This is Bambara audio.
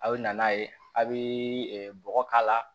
A bɛ na n'a ye a' bɛ bɔgɔ k'a la